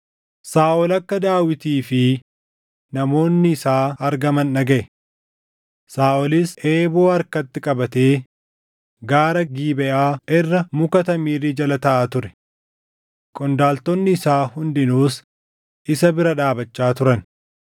Saaʼol akka Daawitii fi namoonni isaa argaman dhagaʼe. Saaʼolis eeboo harkatti qabatee gaara Gibeʼaa irra muka tamirii jala taaʼaa ture. Qondaaltonni isaa hundinuus isa bira dhaabachaa turan.